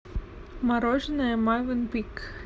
мороженое мовенпик